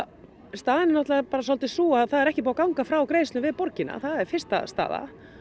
staðan er bara svolítið sú að það er ekki búið að ganga frá greiðslu við borgina það er fyrsta staða